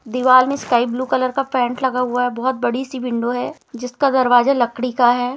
दीवाल में sky blue colour का पेंट लगा हुआ है बहुत बड़ी सी विंडो है जिसका दरवाजा लकड़ी का है।